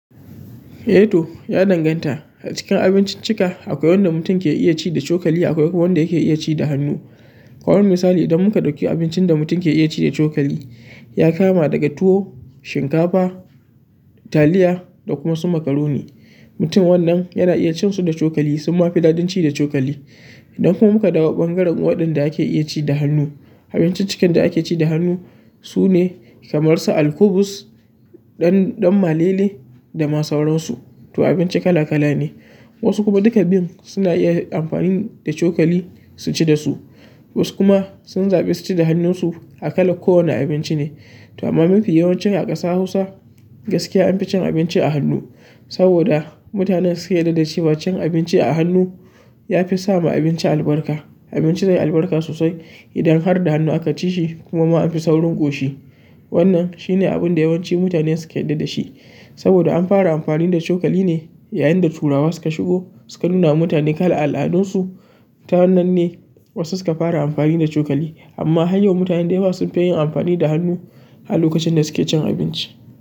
Eh to, ya danganta. A cikin abinciccika akwai wanda mutum ke iya ci da cokali akwai kuma wanda yake iya ci da hannu. Kamar misali idan muka ɗauki abincin da mutum ke iya ci da cokali ya kama daga tuwo, shinkafa, taliya da kuma su makaroni. Mutum wannan yana iya cin su da cokali suma fi daɗin ci da cokali. Idan kuma muka dawo ɓangaren waɗanda ake iya ci da hannu, abinciccikan da ake ci da hannu sune kamar su alkubus, ɗan-ɗan malele da masu wurinsu. To abinci kala kala ne. Wasu kuma duka bin suna iya amfani da cokali su ci dasu, wasu kuma sun zaɓi su ci da hannunsu akala kowane abinci ne. To amma mafi yawancin a ƙasa Hausa gaskiya an fi cin abinci da hannu saboda mutane suke yarda da cewa cin abinci da hannu ya fi sa ma abinci albarka. Abinci zai yi albarka sosai idan har da hannu aka ci shi kuma ma an fi saurin ƙoshi. Wannan shine abun da yawanci mutane suke yarda da shi saboda an fara amfani da cokali ne yayin da turawa suka shigo suka nunawa mutane kalar al'adun su ta wannan ne wasu suka fara amfani da cokali amma har yau mutane da yawa sun fi yin amfani da hannu a lokacin da suke cin abinci.